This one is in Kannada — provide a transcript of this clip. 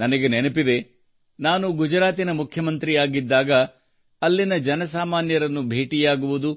ನನಗೆ ನೆನಪಿದೆ ನಾನು ಗುಜರಾತಿನ ಮುಖ್ಯಮಂತ್ರಿಯಾಗಿದ್ದಾಗ ಅಲ್ಲಿನ ಜನಸಾಮಾನ್ಯರನ್ನು ಭೇಟಿಯಾಗುವುದು